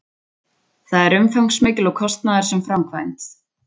Það er umfangsmikil og kostnaðarsöm framkvæmd